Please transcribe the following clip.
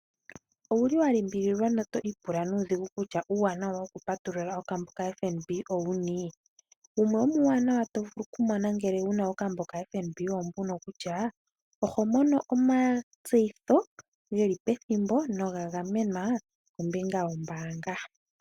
Owu li wa limbililwa noto pula nuudhigu kutya uuwanawa wokupatulula okambo kaFNB owuni? Wumwe womuuwanawa to vulu okumona ngele wu na okambo kaFNB owo mbuno kutya, oho mono omatseyitho ge li pethimbo noga gamenwa kombinga yombaanga.